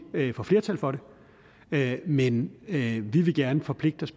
vi ikke får flertal for det men vi vi vil gerne forpligte os